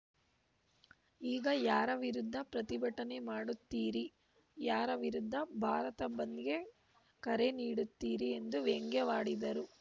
ಈಗ ಯಾರ ವಿರುದ್ಧ ಪ್ರತಿಭಟನೆ ಮಾಡುತ್ತೀರಿ ಯಾರ ವಿರುದ್ಧ ಭಾರತ ಬಂದ್‌ಗೆ ಕರೆ ನೀಡುತ್ತೀರಿ ಎಂದು ವ್ಯಂಗ್ಯವಾಡಿದರು